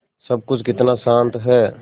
सब कुछ कितना शान्त है